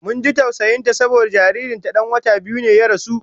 Mun ji tausayin ta saboda jaririn ta dan wata biyu ya rasu